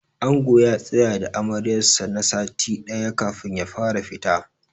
Angon ya tsaya da Amaryar sa na sati ɗaya kafin ya fara fita.